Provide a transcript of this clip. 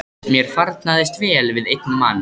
Mér farnaðist vel við einn mann.